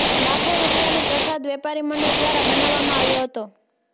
લાખો રૂપિયાનો પ્રસાદ વેપારી મંડળ દ્વારા બનાવામાં આવ્યો હતો